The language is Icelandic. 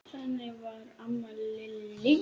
Þannig var amma Lillý.